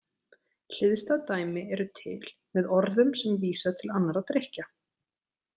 Hliðstæð dæmi eru til með orðum sem vísa til annarra drykkja.